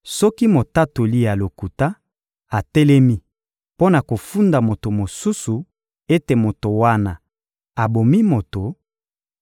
Soki motatoli ya lokuta atelemi mpo na kofunda moto mosusu ete moto wana abomi moto;